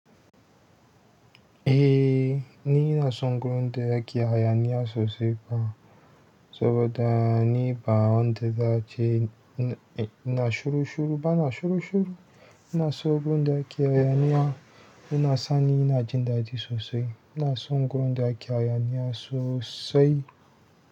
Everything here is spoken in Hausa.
Eh! Ni inason gurin da ake hayaniya sosai. Saboda ni ba wanda zai, ina shuru shuru ba na shuru shuru. Ina so gudu ake hayaniya, ina sani ina jin daɗi sosai. Ina son gudu a ƙiyaya ni a sosai.